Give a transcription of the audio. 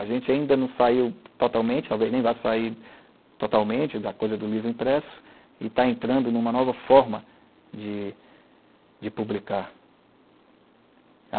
A gente ainda não saiu totalmente, talvez nem vá sair totalmente da coisa do livro impresso, e está entrando numa nova forma de publicar.